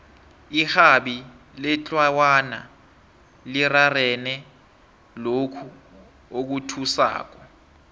irhabi letlawana lirarene lokhu okuthusako